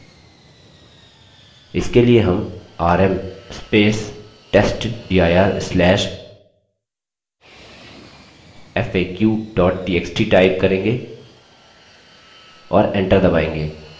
इसके लिए हम $rm testdir/faq txt type करेंगे और एंटर दबायेंगे